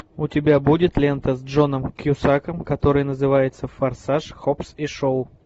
у тебя будет лента с джоном кьюсаком которая называется форсаж хопс и шоу